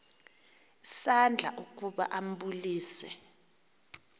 isandla ukuba ambulise